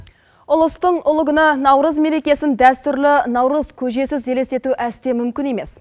ұлыстың ұлы күні наурыз мерекесін дәстүрлі наурыз көжесіз елестету әсте мүмкін емес